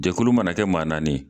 Jɛkulu mana kɛ maa naani ye.